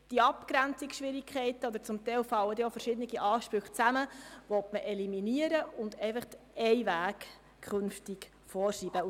Diese Abgrenzungsschwierigkeiten – teilweise fallen auch verschiedene Ansprüche zusammen – sollen eliminiert werden, sodass in Zukunft Weg vorgeschrieben ist.